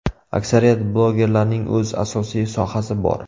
Aksariyat blogerlarning o‘z asosiy sohasi bor.